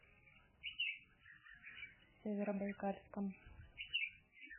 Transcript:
северобайкальском